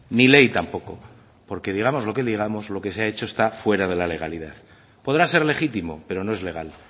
ni ley tampoco porque digamos lo que digamos lo que se ha hecho está fuera de la legalidad podrá ser legítimo pero no es legal